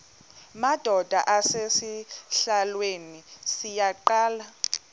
madod asesihialweni sivaqal